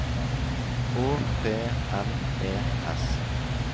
Å P N E S